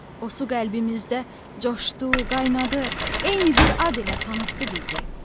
O su qəlbimizdə coşdu, qaynadı, eyni bir ad ilə tanıtdı bizi.